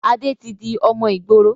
Adé tí di ọmọ ìgboro